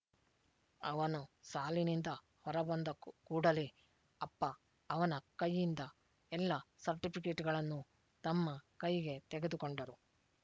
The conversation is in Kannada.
ಅವನು ಸಾಲಿನಿಂದ ಹೊರಬಂದ ಕೂಡಲೇ ಅಪ್ಪ ಅವನ ಕೈಯಿಂದ ಎಲ್ಲ ಸರ್ಟಿಫಿಕೇಟ್‍ಗಳನ್ನೂ ತಮ್ಮ ಕೈಗೆ ತೆಗೆದುಕೊಂಡರು